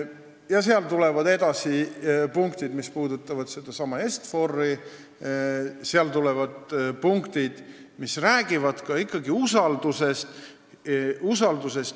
Edasi tulevad punktid, mis puudutavad sedasama Est-Fori, tulevad punktid, mis räägivad usaldusest.